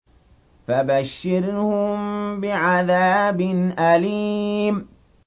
فَبَشِّرْهُم بِعَذَابٍ أَلِيمٍ